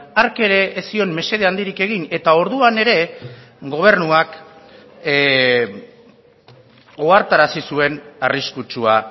hark ere ez zion mesede handirik egin eta orduan ere gobernuak ohartarazi zuen arriskutsua